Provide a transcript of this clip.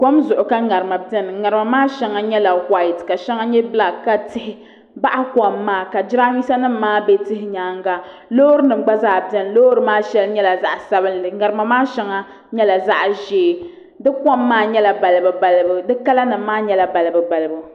Kom zuɣu ka ŋarima biɛni ŋarima maa shɛŋa nyɛla whaait ka shɛŋa nyɛ bilak ka tihi baɣa kom maa ka jiranbiisa nim maa bɛ tihi nyaanga loori nim gba zaa biɛni loori nim maa shɛŋa nyɛla zaɣ sabinli ŋarima maa shɛli nyɛla zaɣ ʒiɛ di kom maa nyɛla balibu balibu